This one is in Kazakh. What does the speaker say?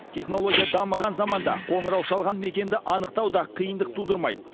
технология дамыған заманда қоңырау шалған мекенді анықтау да қиындық тудырмайды